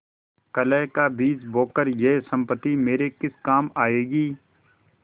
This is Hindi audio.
कलह का बीज बोकर यह सम्पत्ति मेरे किस काम आयेगी